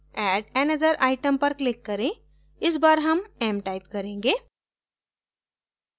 add another item पर click करें इस बार m m time करेंगे